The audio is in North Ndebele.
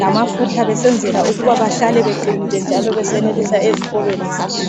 lamafutha besenzela ukuba behlale beqinile jalo besenelisa ezikolweni zabo